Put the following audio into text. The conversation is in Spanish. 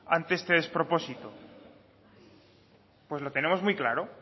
ante este despropósito pues lo tenemos muy claro